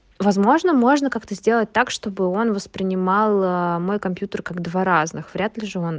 возможно можно как-то сделать так чтобы он воспринимал мой компьютер как два разных вряд ли же он